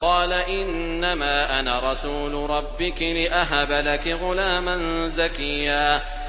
قَالَ إِنَّمَا أَنَا رَسُولُ رَبِّكِ لِأَهَبَ لَكِ غُلَامًا زَكِيًّا